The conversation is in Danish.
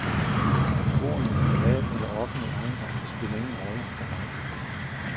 Om vi bor i en privat eller offentlig ejendom, spiller ingen rolle for mig.